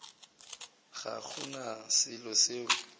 ga go na selo seo